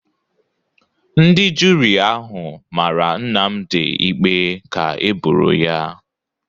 Ndị juri ahụ mara Nnamdi ikpe ka eboro ya